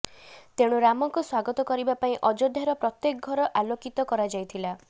ତେଣୁ ରାମଙ୍କୁ ସ୍ୱାଗତ କରିବା ପାଇଁ ଅଯୋଧ୍ୟାର ପ୍ରତ୍ୟେକ ଘର ଆଳୋକିତ କରାଯାଇଥିଲା